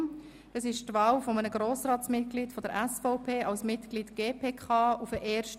Es handelt sich um die Wahl eines Grossratsmitglieds der SVP als Mitglied der GPK.